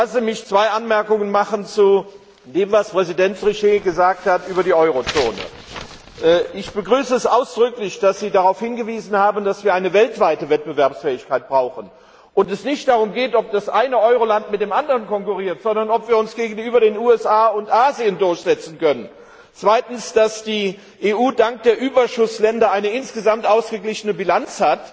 Lassen Sie mich zwei Anmerkungen zu dem, was Präsident Trichet über die Eurozone gesagt hat, machen. Ich begrüße es ausdrücklich, dass Sie darauf hingewiesen haben, dass wir weltweit wettbewerbsfähig sein müssen und es nicht darum geht, dass das eine Euroland mit dem anderen konkurriert, sondern darum, ob wir uns gegenüber den USA und Asien durchsetzen können. Zweitens hat die EU dank der Überschussländer eine insgesamt ausgeglichene Bilanz